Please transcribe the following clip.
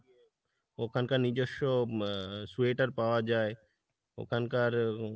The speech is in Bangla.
ওখানকার নিজেস্ব আহ sweater পাওয়া যায় ওখানকার উম